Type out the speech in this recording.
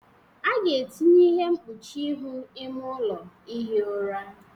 A ga-etinye ihe mkpuchi ihu ime ụlọ ihi ụra